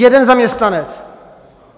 Jeden zaměstnanec.